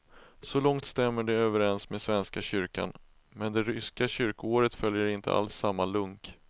Så långt stämmer det överens med svenska kyrkan, men det ryska kyrkoåret följer inte alls samma lunk.